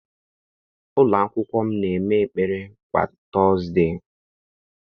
Ụlọakwụkwọ m na-eme ekpere kwa tọọzde.